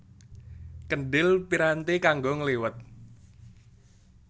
Kendhil piranti kanggo ngliwet